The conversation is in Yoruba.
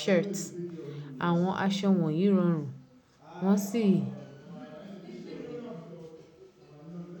shirt. Àwọn aṣọ wọ̀nyí rọrùn, wọ́n sì.